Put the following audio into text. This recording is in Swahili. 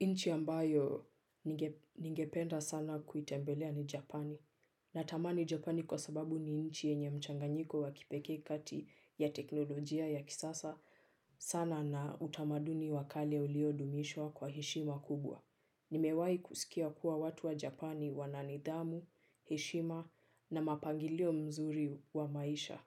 Nchi ambayo ningependa sana kuitembelea ni Japani. Natamani Japani kwa sababu ni nchi yenye mchanganyiko wa kipekee kati ya teknolojia ya kisasa sana na utamaduni wa kale uliodumishwa kwa heshima kubwa. Nimewahi kusikia kuwa watu wa Japani wana nidhamu, heshima na mapangilio mazuri kwa maisha.